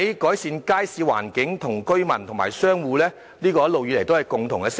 改善街市環境，一直以來都是居民和商戶的共同訴求。